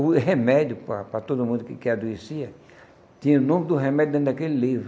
O remédio, para para todo mundo que que adoecia, tinha o nome do remédio dentro daquele livro.